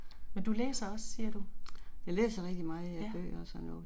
Men du læser også siger du? Ja